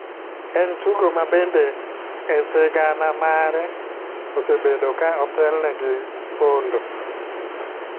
En tugo ma bende e sigana mare osebedo ka otelne gi pondo,